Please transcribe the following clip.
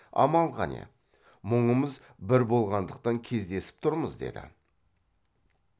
амал қане мұңымыз бір болғандықтан кездесіп тұрмыз деді